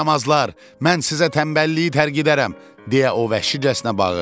Yaramazlar, mən sizə tənbəlliyi tərk edərəm, deyə o vəhşicəsinə bağırdı.